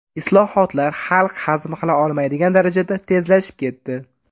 Islohotlar xalq hazm qila olmaydigan darajada tezlashib ketdi.